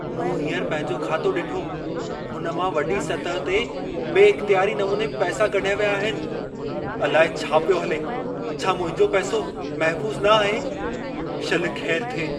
मूं हींअर पंहिंजो खातो ॾिठो, हुन मां वॾी सतह ते बे इख़्तियारी नमूने पैसा कढिया विया आहिनि। अलाए छा पियो हले। छा मुंहिंजा पैसो महफ़ूस न आहे? शल ख़ैरु थिए।